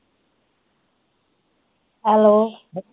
hello